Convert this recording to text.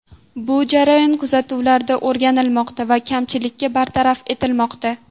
Bu jarayon kuzatuvlarda o‘rganilmoqda va kamchiliklar bartaraf etilmoqda.